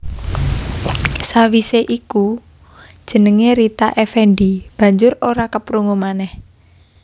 Sawisé iku jenengé Rita Effendy banjur ora keprungu manèh